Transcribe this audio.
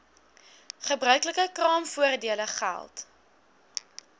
gebruiklike kraamvoordele geld